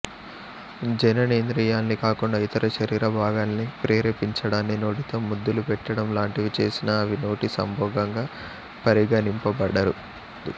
జననేంద్రియాల్ని కాకుండా ఇతర శరీర భాగాల్ని ప్రేరేపించడాన్ని నోటితో ముద్దులు పెట్టడం లాంటివి చేసినా అవి నోటి సంభోగంగా పరిగణింపబడదు